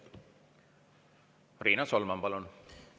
Riina Solman, palun!